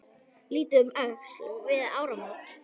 Litið um öxl við áramót.